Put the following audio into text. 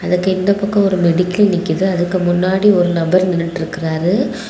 இதுக்கு இந்த பக்கம் ஒரு மெடிக்கல் நிக்குது அதுக்கு முன்னாடி ஒரு நபர் நின்னுட்ருக்காரு.